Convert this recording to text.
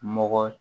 Mɔgɔ